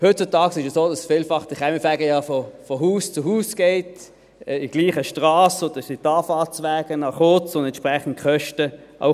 Heutzutage ist es so, dass der Kaminfeger vielfach von Haus zu Haus geht, in der gleichen Strasse, und so sind die Anfahrtswege kurz, und auch die Kosten sind entsprechend klein.